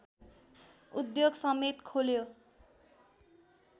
उद्योगसमेत खोल्यो